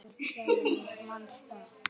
Þínir vinir, Dagrún og Eggert.